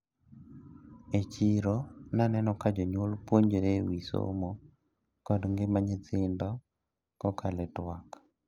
E chiro naneno ka jonyuol puonre ewi somo kod ngima nyithindo kokalo e twak.